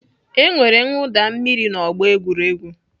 E nwere mwụda mmiri n'ọgbọ egwuregwu.